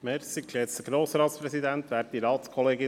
Kommissionspräsident der FiKo.